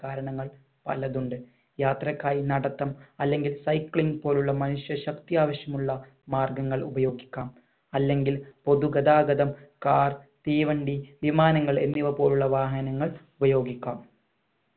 കാരണങ്ങൾ പലതുണ്ട് യാത്രക്കായി നടത്തം അല്ലങ്കിൽ cycling പോലുള്ള മനുഷ്യ ശക്തി ആവഷ്യമുള്ള മാർഗങ്ങൾ ഉപയോഗിക്കാം അല്ലെങ്കിൽ പൊതു ഗതാഗതം car തീവണ്ടി വിമാനങ്ങൾ എന്നിവ പോലുള്ള വാഹനങ്ങൾ ഉപയോഗിക്കാം